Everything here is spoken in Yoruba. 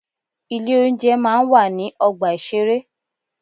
Ilé oúnjẹ máa ń wà ní ọgbà ìṣeré.